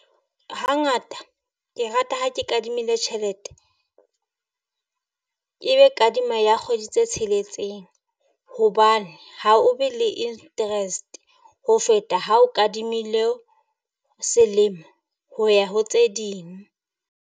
Hangata ke rata ha ke kadimile tjhelete. E be kadima ya kgwedi tse tsheletseng, hobane ha o be le interest ho feta ha o kadimile selemo ho ya ho tse ding.